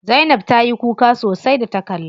Zainab ta yi kuka sosai da ta kalla.